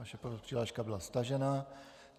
Vaše přihláška byla stažena.